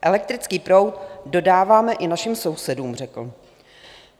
Elektrický proud dodáváme i našim sousedům, řekl.